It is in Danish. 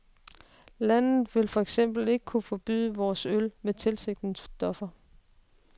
Landet vil for eksempel ikke kunne forbyde vores øl med tilsætningsstoffer.